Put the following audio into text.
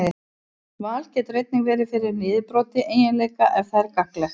Val getur einnig verið fyrir niðurbroti eiginleika ef það er gagnlegt.